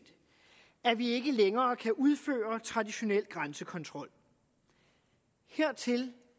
at vi ikke længere kan udføre traditionel grænsekontrol hertil